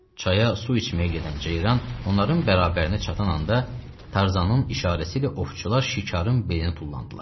Çaya su içməyə gedən ceyran onların bərabərinə çatan anda Tarzanın işarəsi ilə ovçular şikarın beyninə tullandılar.